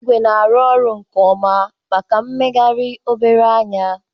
Ịgwe na-arụ ọrụ nke ọma maka mmegharị obere ányà.